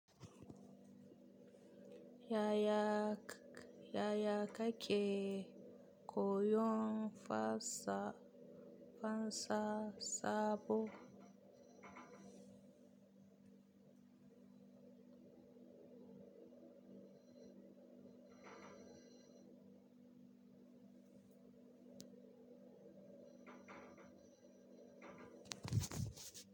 Yaya ka ke koyon fasa sabo?